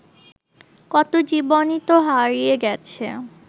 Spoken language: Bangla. কত জীবনই তো হারিয়ে গেছে